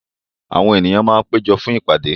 Àwọn ènìyàn máa péjọ fún ìpàdé.